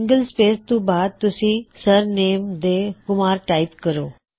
single space ਤੋਂ ਬਾਅਦ ਤੁਸੀ ਸਰਨੇਮ ਦੇ ਤੌਰ ਤੇ ਕੁਮਾਰ ਟਾਇਪ ਕਰੋ